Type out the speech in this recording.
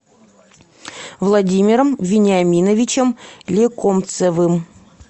владимиром вениаминовичем лекомцевым